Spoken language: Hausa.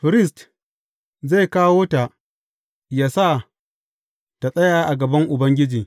Firist zai kawo ta, yă sa tă tsaya a gaban Ubangiji.